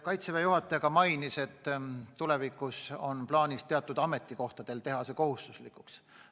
Kaitseväe juhataja märkis, et tulevikus on plaanis teatud ametikohtadel teha vaktsineerimine kohustuslikuks.